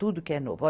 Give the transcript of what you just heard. Tudo que é novo.